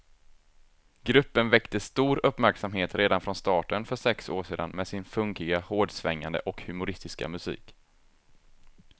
Gruppen väckte stor uppmärksamhet redan från starten för sex år sedan med sin funkiga, hårdsvängande och humoristiska musik.